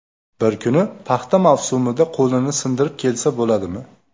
Bir kuni paxta mavsumida qo‘lini sindirib kelsa bo‘ladimi?